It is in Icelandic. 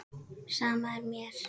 Sama er mér.